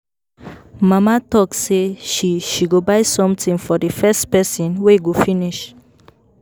Mama talk say she she go buy something for the first person wey go finish